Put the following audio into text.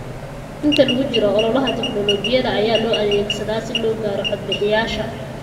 Inta lagu jiro ololaha, tignoolajiyada ayaa loo adeegsadaa si loo gaaro codbixiyayaasha.